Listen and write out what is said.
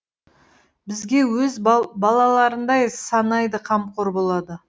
бізге өз балаларындай санайды қамқор болады